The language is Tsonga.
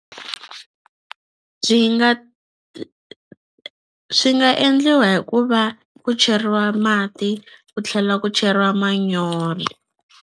nga swi nga endliwa hi ku va ku cheriwa mati ku tlhela ku cheriwa manyoro.